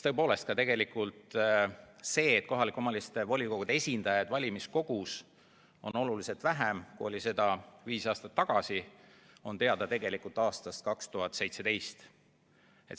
Ja tegelikult see, et kohalike omavalitsuste volikogude esindajaid valimiskogus on oluliselt vähem, kui neid oli viis aastat tagasi, oli teada juba aastast 2017.